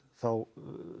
þá